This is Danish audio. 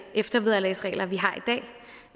eftervederlagsregler vi har